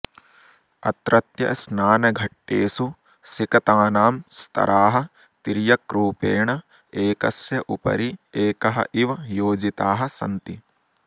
अत्रत्यस्नानघट्टेषु सिकतानां स्तराः तिर्यक्रूपेण एकस्य उपरि एकः इव योजिताः सन्ति